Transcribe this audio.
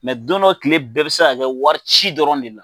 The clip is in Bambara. don dɔ kile bɛɛ bi se ka kɛ warici dɔrɔn de la.